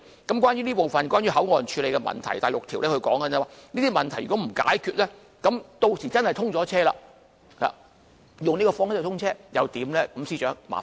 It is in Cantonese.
有關這部分，即關於口岸處理的問題，在第六條便指出，如果問題不獲解決，屆時若以這方式通車後，又該怎辦呢？